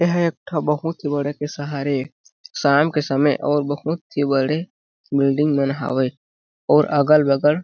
एह एक ठो बहुत ही बड़े के शहर हे शाम के समय ओ बहुत ही बड़े बिल्डिंग मन हावे अउ अगल - बगल --